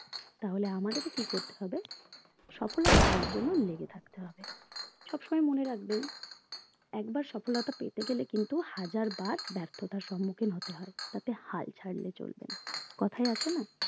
তাহলে আমাদেরকে কি করতে হবে সফলতা পাওয়ার জন্য লেগে থাকতে হবে সবসময় মনে রাখবেন একবার সফলতা পেতে গেলে কিন্তু হাজারবার ব্যার্থতার সম্মুখীন হতে হয় তাতে হাল ছাড়লে চলবে না কোথায় আছে না